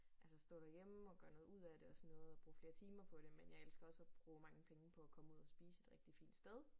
Altså stå derhjemme og gøre noget ud af det og sådan noget og bruge flere timer på det men jeg elsker også at bruge mange penge på at komme ud at spise et rigtig fint sted